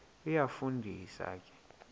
iyafu ndisa ke